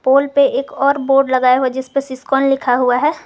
पोल पे एक और बोर्ड लगाया हुआ है जिस पे सिस्कॉन लिखा हुआ है।